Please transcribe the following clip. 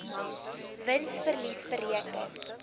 wins verlies bereken